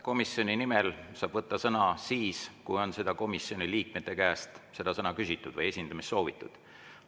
Komisjoni nimel saab võtta sõna siis, kui on komisjoni liikmete käest seda õigust küsitud või esindamist soovitud.